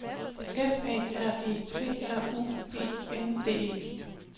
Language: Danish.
F A R E T R U E N D E